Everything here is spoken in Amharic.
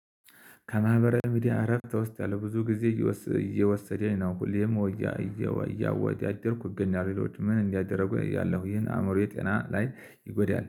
ከማህበራዊ ሚዲያ እረፍት እወስዳለው ብዙ ጊዜ እየወሰደ ነው ሁሌም እያወድ እያወደርኩኝ እገኛለው። ምን እንዳያደርጉ ያለሁኝ አእምሮዬ ጤና ላይ ይጎዳል